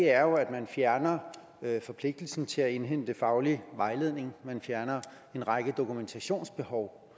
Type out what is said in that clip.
er jo at man fjerner forpligtelsen til at indhente faglig vejledning man fjerner en række dokumentationskrav